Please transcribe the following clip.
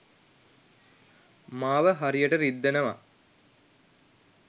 මාව හරියට රිද්දනවා